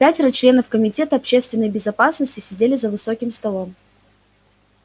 пятеро членов комитета общественной безопасности сидели за высоким столом